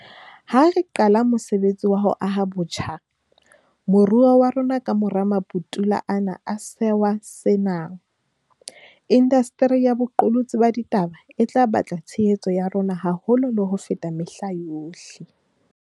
Ha re qala mosebetsi wa ho aha botjha moruo wa rona kamora maputula ana a sewa sena, indasteri ya boqolotsi ba ditaba e tla batla tshehetso ya rona haholo le ho feta mehla yohle.